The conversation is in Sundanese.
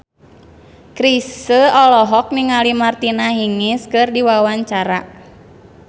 Chrisye olohok ningali Martina Hingis keur diwawancara